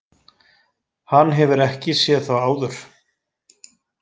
Hann hefur ekki séð þá áður.